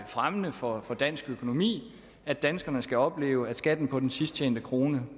fremmende for dansk økonomi at danskerne skal opleve at skatten på den sidst tjente krone